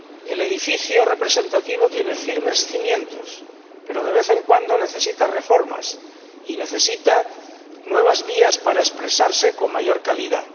El edificio representativo tiene firmes cimientos, pero, de vez en cuando, necesita reformas y necesita nuevas vías para expresarse con mayor calidad.